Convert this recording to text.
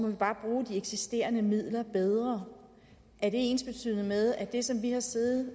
vi bare bruge de eksisterende midler bedre er det ensbetydende med at det som vi har siddet